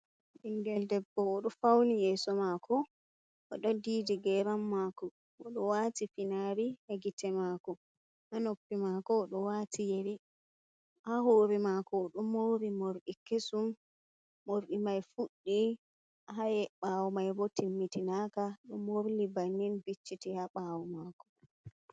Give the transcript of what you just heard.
Ɓingel debbo oɗo fauni yeso mako oɗo didi geram mako oɗo wati finari ha gite mako ha noppi mako oɗo wati yeri ha hore mako oɗo mori morɗi kesum morɗi mai fuɗɗi ɓawo mai bo timmitinaka ɗo morli bannin vicciti ha ɓawo mako.